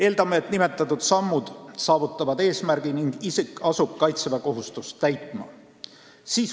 Eeldame, et saavutame nimetatud sammudega eesmärgi ning isik asub kaitseväekohustust täitma.